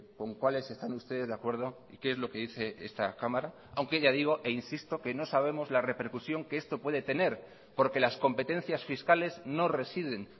con cuáles están ustedes de acuerdo y qué es lo que dice esta cámara aunque ya digo e insisto que no sabemos la repercusión que esto puede tener porque las competencias fiscales no residen